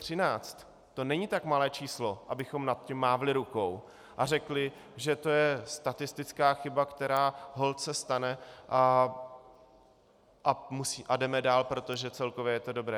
To není tak malé číslo, abychom nad tím mávli rukou a řekli, že to je statistická chyba, která se stane, a jdeme dál, protože celkově je to dobré.